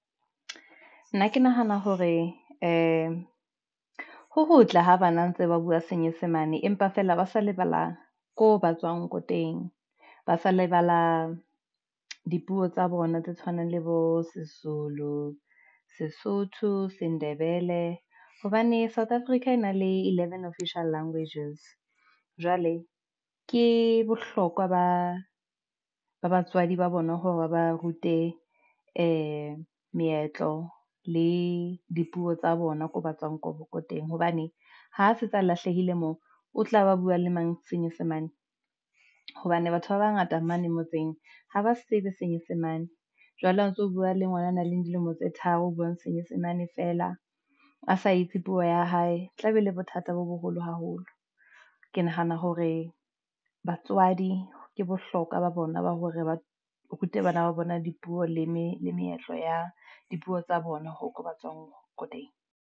Nna ke nahana hore ee, ho hotle ho bana ntse ba bua senyesemane, empa feela ba sa lebala, ko ba tswang boteng ba sa lebala dipuo tsa bona, tse tshwanang le bo se Zulu, Sesotho se Ndebele hobane South Africa e na le eleven official languages. Jwale ke bohlokwa ba batswadi ba bona hore ba ba rute ee meetlo le dipuo tsa bona, koo ba tswang ko ko teng. Hobane ha se tsa lahlehile moo o tla ba bua le mang senyesemane ng? Hobane batho ba bangata mane motseng ha ba se tsebe senyesemane, jwale ha o ntso o bua le ngwana a nang le dilemo tse tharo o buang senyesemane fela a sa itse puo ya hae, tla be le bothata bo boholo haholo holo. Ke nahana hore batswadi ke bohlokwa ba bona ba hore ba rute bana ba bona dipuo le meetlo ya dipuo tsa bona ho ka ba tswang ko teng.